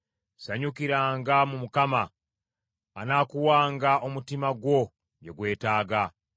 Sanyukiranga mu Mukama , anaakuwanga omutima gwo bye gwetaaga.